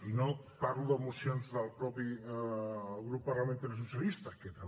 i no parlo de mocions del propi grup parlamentari socialista que també